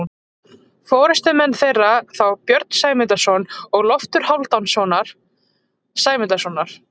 Forystumenn þeirra voru þá Björn Sæmundarson og Loftur Hálfdanarson Sæmundarsonar.